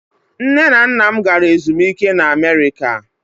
Nne na nna m gara ezumike na America.